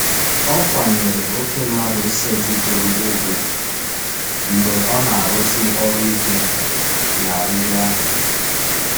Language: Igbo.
Ọ kwanyere oke mmadụ setịpụrụ ugwu mgbe ọ na-arụsi ọrụ ike na riri ahụ.